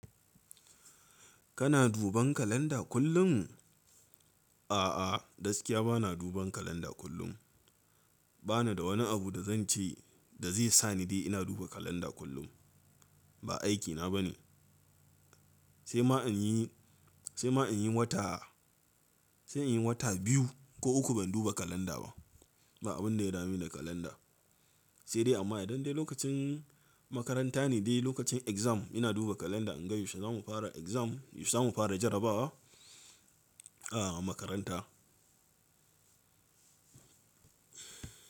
Kana duban kalanda kullum? A'a, gaskiya bana duban kalanda kullum. Bana da wani abu da zan ce da zai sa ni dai ina duba kalanda kullum. Ba aikina bane. Sai ma in yi, sai ma in yi wata, sai in yi wata biyu ko uku ban duba kalanda ba. Ba abin da ya dame Ni da kalanda. Sai dai amma idan dai lokacin makaranta ne dai lokacin exam ina duba kalanda in ga yaushe za mu fara exam, yaushe za mu fara jarabawa a makaranta.